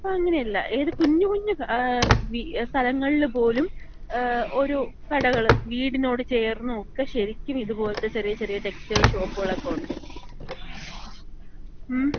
പക്ഷേ ഇപ്പൊ അങ്ങനെയല്ല. ഏത് കുഞ്ഞു കുഞ്ഞ് സ്ഥലങ്ങളില് പോലും ഓരോ കടകള്. വീടിനോട് ചേർന്നുക്കെ ശരിക്കും ഇത് പോലെത്ത ചെറിയ ചെറിയ ടെക്സ്റ്റൈൽ ഷോപ്പുകളൊക്കെ ഒണ്ട്. മ്മ്?